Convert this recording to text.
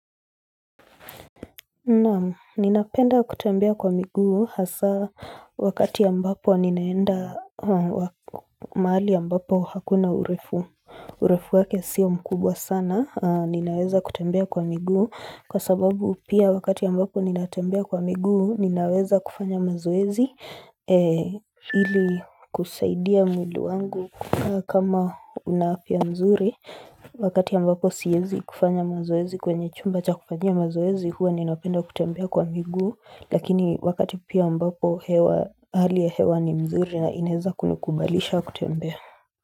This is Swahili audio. Naam, ninapenda kutembea kwa miguu, hasa wakati ambapo ninaenda mahali ambapo hakuna urefu, urefu wake siyo mkubwa sana, ninaweza kutembea kwa miguu, kwa sababu pia wakati ambapo ninatembea kwa miguu, ninaweza kufanya mazoezi, ili kusaidia mwili wangu kukaa kama una afya nzuri Wakati ambapo siezi kufanya mazoezi kwenye chumba cha kufanyia mazoezi huwa ninapenda kutembea kwa miguu Lakini wakati pia ambapo hewa hali ya hewa ni mzuri na inaeza kunikubalisha kutembea.